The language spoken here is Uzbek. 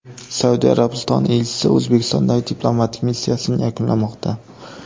Saudiya Arabistoni elchisi O‘zbekistondagi diplomatik missiyasini yakunlamoqda.